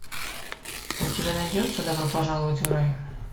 у тебя найдется добро пожаловать в рай